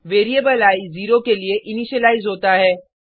variable i zero के लिए initialise होता है